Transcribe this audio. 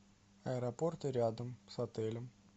аэропорты рядом с отелем